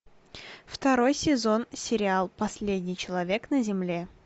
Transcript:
второй сезон сериал последний человек на земле